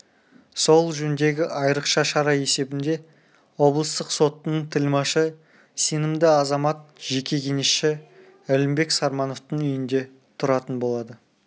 сол жөндегі айрықша шара есебінде облыстық соттың тілмашы сенімді азамат жеке кеңесші әлімбек сармановтың үйінде тұратын болады